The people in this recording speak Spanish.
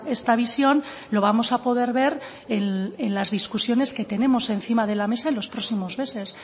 esta visión lo vamos a poder ver en las discusiones que tenemos encima de la mesa en los próximos meses